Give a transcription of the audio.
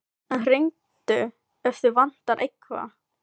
En hringdu ef þig vantar eitthvað.